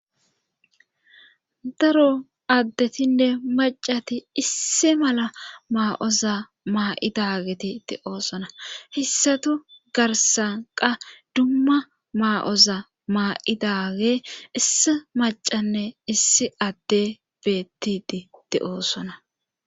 Daro addetinne maccati issi mala maa7oza maa7idaageti de7oosona hessatu garssan qa dumma maa7oza maa7idaagey issi maccanne issi adde beetdi de7oosona